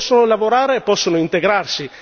Se non possono lavorare, possono integrarsi?